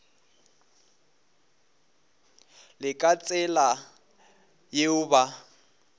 le ka tsela yeo ba